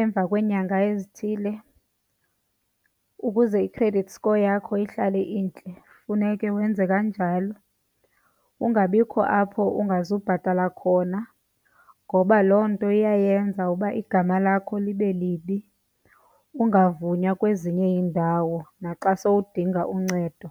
emva kweenyanga ezithile, ukuze i-credit score yakho ihlale intle funeke wenze kanjalo. Kungabikho apho ungazubhatala khona ngoba loo nto iyayenza uba igama lakho libe libi, ungavunywa kwezinye iindawo naxa sowudinga uncedo.